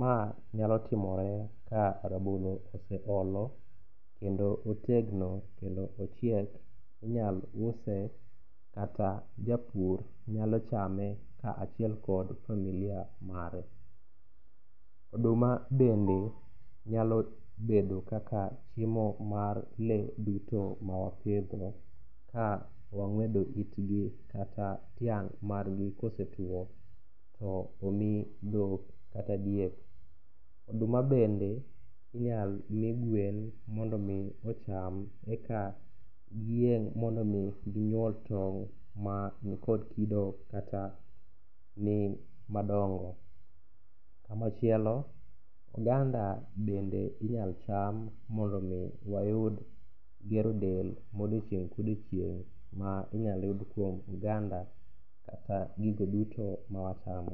Ma nyalo timore ka rabolo oseolo kendo otegno kendo ochiek. Inyalo use kata japur nyalo chame kaachiel kod familia mare. Oduma bende nyalo bedo kaka chiemo mar lee duto mawapidho, ka wang'wedo itgi kata tiang' margi kosetuwo, to omi dhok kata diek. Oduma bende inyalo mi gwen mondo omi ocham eka giyieng' mondo omi ginyuol tong' mani kod kido kata ni madongo. Kamachielo, oganda bende inyalo cham mondo omi wayud gero del modiochieng' kodiochieng' ma inyalo yud kuom oganda kata gigo duto ma wachamo.